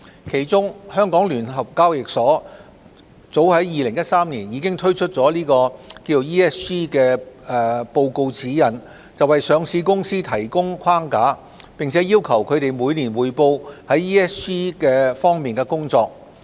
其中，香港聯合交易所早在2013年已推出了《環境、社會及管治報告指引》，為上市公司提供框架，並要求它們每年匯報在 ESG 方面的工作。